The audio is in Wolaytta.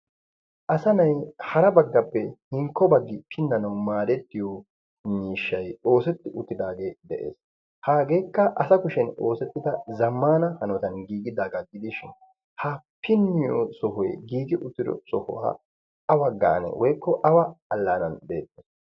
asanay hara baggappe hinkko baggi pinnanau maarettiyo iniishshai xoosetti uttidaagee de'ees. haageekka asa kushen xoosettida zammana hanotan giigidaa gaa gidishin ha pinniyo sohoy giigi uttido soho a awa gaane woykko awa allaanan de'ettees.